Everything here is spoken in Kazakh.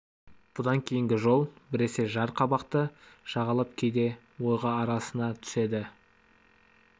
бұдан кейінгі жол біресе жар қабақты жағалап кейде ойға арасына түседі